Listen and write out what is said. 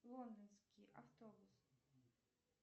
лондонский автобус